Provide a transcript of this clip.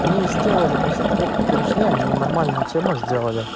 они и сделали после того как перешли они и нормальную тему сделали